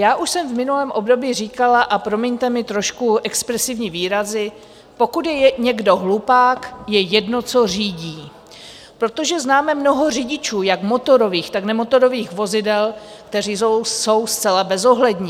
Já už jsem v minulém období říkala - a promiňte mi trošku expresivní výrazy - pokud je někdo hlupák, je jedno, co řídí, protože známe mnoho řidičů jak motorových, tak nemotorových vozidel, kteří jsou zcela bezohlední.